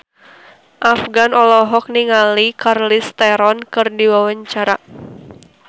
Afgan olohok ningali Charlize Theron keur diwawancara